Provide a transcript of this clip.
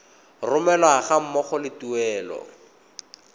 romelwa ga mmogo le tuelo